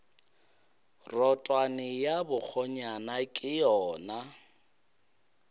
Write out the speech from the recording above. rotwane ya bakgonyana ke yona